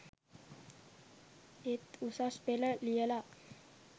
ඒත් උසස් පෙළ ලියලා